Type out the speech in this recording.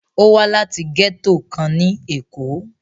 Ó wá láti gẹ́tò kan ní Èkó.